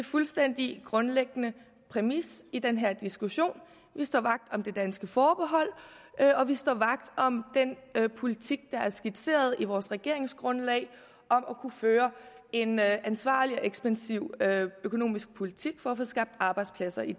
fuldstændig grundlæggende præmis i den her diskussion vi står vagt om det danske forbehold og vi står vagt om den politik der er skitseret i vores regeringsgrundlag om at kunne føre en ansvarlig og ekspansiv økonomisk politik for at få skabt arbejdspladser i